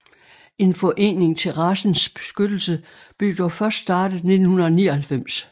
En forening til racens beskyttelse blev dog først startet 1999